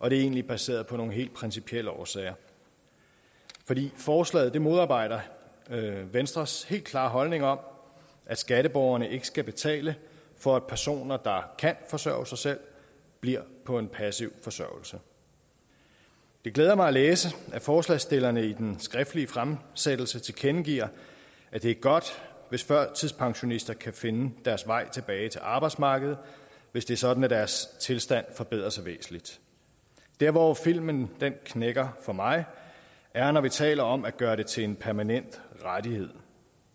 og det er egentlig baseret på nogle helt principielle årsager fordi forslaget modarbejder venstres helt klare holdning om at skatteborgerne ikke skal betale for at personer der kan forsørge sig selv bliver på en passiv forsørgelse det glæder mig at læse at forslagsstillerne i den skriftlige fremsættelse tilkendegiver at det er godt hvis førtidspensionister kan finde deres vej tilbage til arbejdsmarkedet hvis det er sådan at deres tilstand forbedrer sig væsentligt der hvor filmen knækker for mig er når vi taler om at gøre det til en permanent rettighed